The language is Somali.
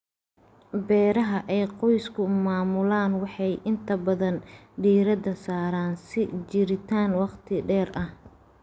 Beeraha ay qoysku maamulaan waxay inta badan diiradda saaraan sii jiritaan waqti dheer ah.